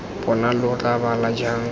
bona lo tla bala jang